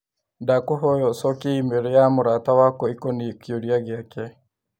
Ndakũhoya ũcokie i-mīrū ya mũrata wakwa ĩkonĩĩ kĩũria gĩake.